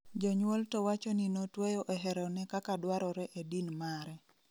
Jonyuol to wacho ni notweyo e hero ne kaka dwarore e din mare